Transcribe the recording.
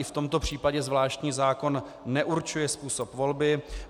I v tomto případě zvláštní zákon neurčuje způsob volby.